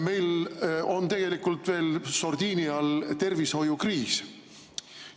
Meil on tegelikult veel sordiini all tervishoiukriis.